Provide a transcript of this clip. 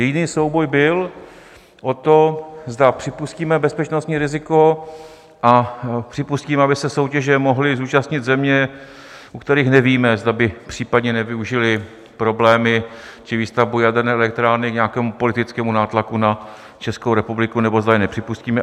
Jediný souboj byl o to, zda připustíme bezpečnostní riziko a připustíme, aby se soutěže mohly zúčastnit země, o kterých nevíme, zda by případně nevyužily problémy či výstavbu jaderné elektrárny k nějakému politickému nátlaku na Českou republiku, nebo zda je nepřipustíme.